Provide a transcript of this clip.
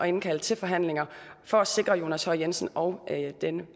indkalde til forhandlinger for at sikre jonas høj jensen og